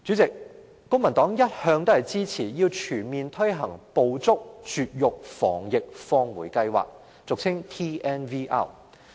公民黨一向支持全面推行"捕捉、絕育、防疫、放回"計劃。